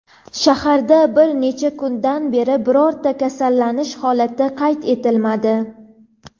Shaharda bir necha kundan beri birorta kasallanish holati qayd etilmadi.